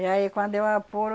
E aí quando eu apuro,